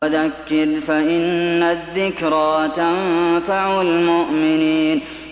وَذَكِّرْ فَإِنَّ الذِّكْرَىٰ تَنفَعُ الْمُؤْمِنِينَ